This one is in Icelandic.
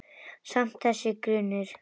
Samt- þessi grunur.